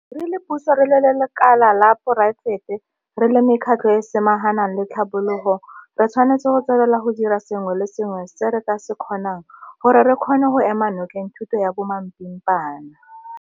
Re le puso, re le lekala la poraefete, re le mekgatlho e e samaganang le tlhabologo re tshwanetse go tswelela go dira sengwe le sengwe se re ka se kgonang gore re kgone go ema nokeng thuto ya bomapimpana.